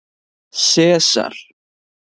Sesar